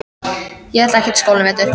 Ég ætla ekkert í skólann í vetur.